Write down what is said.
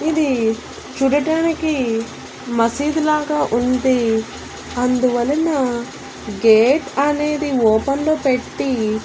ఇది చూడటానికి మసీదు లాగా ఉంది అందువలన గేట్ అనేది ఓపెన్ లో పెట్టి.